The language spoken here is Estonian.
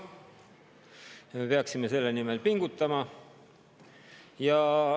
Me peaksime selle nimel pingutama.